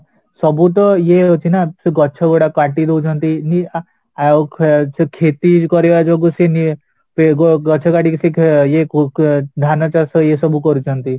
ସବୁତ ଇଏ ଅଛି ନା ଗଛ ଗୁଡାକ କାଟିଦେଉଛନ୍ତି ଆଉ ସେ ଖେତୀ କରିବା ଯୋଗୁ ସେ ଗଛ କାଟିକି ସେ ଇଏ ଧାନ ଚାଷ ଇଏ ସବୁ କରୁଛନ୍ତି